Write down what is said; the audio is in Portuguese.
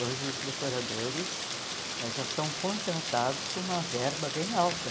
Hoje os decoradores já são contratados com uma verba bem alta.